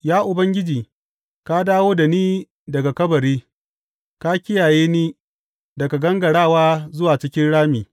Ya Ubangiji, ka dawo da ni daga kabari; ka kiyaye ni daga gangarawa zuwa cikin rami.